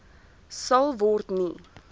sal word nie